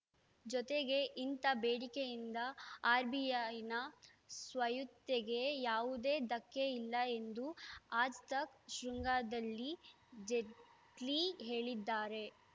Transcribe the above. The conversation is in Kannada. ಜೊತೆಗೆ ಇಂಥ ಬೇಡಿಕೆಯಿಂದ ಆರ್‌ಬಿಐನ ಸ್ವಾಯತ್ತೆಗೆ ಯಾವುದೇ ಧಕ್ಕೆ ಇಲ್ಲ ಎಂದು ಆಜ್‌ತಕ್‌ ಶೃಂಗದಲ್ಲಿ ಜೇಟ್ಲಿ ಹೇಳಿದ್ದಾರೆ